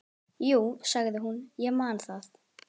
Jú, sagði hún, ég man það.